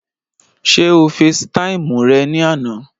Ṣé o fesi táìmù rẹ̀ ní àná?